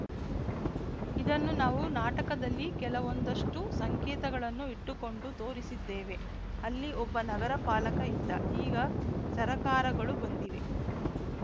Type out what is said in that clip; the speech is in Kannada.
ಇದನ್ನು ನಾವು ನಾಟಕದಲ್ಲಿ ಕೆಲವೊಂದಷ್ಟುಸಂಕೇತಗಳನ್ನು ಇಟ್ಟುಕೊಂಡು ತೋರಿಸಿದ್ದೇವೆ ಅಲ್ಲಿ ಒಬ್ಬ ನಗರ ಪಾಲಕ ಇದ್ದ ಈಗ ಸರಕಾರಗಳು ಬಂದಿವೆ